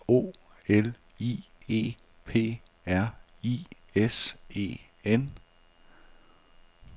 O L I E P R I S E N